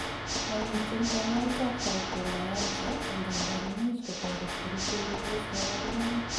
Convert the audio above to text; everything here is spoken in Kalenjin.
momiten kanyaet ab fibromyalgia, angandan imuch Kotoret kerichek kobos kaborunoik